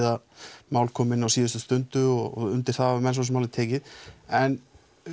að mál komi inn á síðustu stundu og undir það hafa menn svo sem alveg tekið en